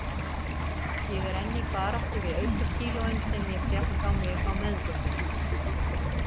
Ég er enn í baráttu við aukakílóin sem ég fékk á mig á meðgöngunni.